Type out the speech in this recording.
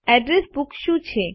address book શું છે